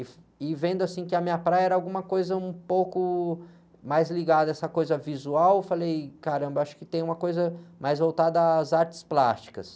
E vendo que a minha praia era alguma coisa um pouco mais ligada a essa coisa visual, eu falei, caramba, acho que tem uma coisa mais voltada às artes plásticas.